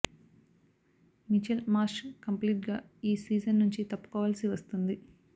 Mitchell Marsh complete గా ఈ season నుంచి తప్పుకోవాల్సి వస్తోంది